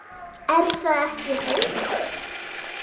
Er það ekki, Haukur?